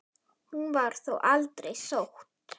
Hún var þó aldrei sótt.